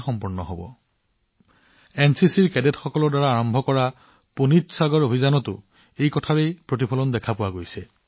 আমি এনচিচি কেডেটৰ NCC cadet দ্বাৰা আৰম্ভ কৰা পুনীত সাগৰ অভিযানতো ইয়াৰ এক আভাস দেখিবলৈ পাও